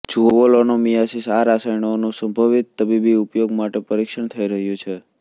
જુઓ લોનોમિયાસિસ આ રસાયણોનું સંભવિત તબીબી ઉપયોગ માટે પરિક્ષણ થઇ રહ્યું છે